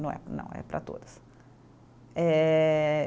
Não é não, é para todas. Eh